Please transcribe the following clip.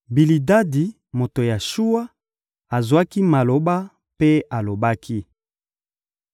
Bilidadi, moto ya Shuwa, azwaki maloba mpe alobaki: